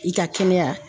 I ka kɛnɛya